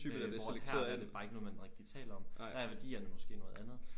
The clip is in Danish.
Hvor at her er det bare ikke noget man rigtig taler om. Der er værdierne måske noget andet